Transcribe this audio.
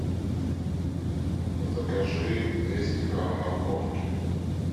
закажи двести грамм морковки